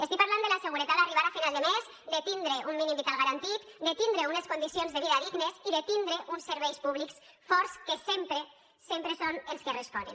estic parlant de la seguretat d’arribar a final de mes de tindre un mínim vital garantit de tindre unes condicions de vida dignes i de tindre uns serveis públics forts que sempre sempre són els que responen